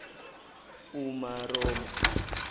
umaromo